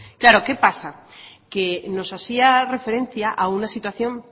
claro qué pasa que nos hacía referencia a una situación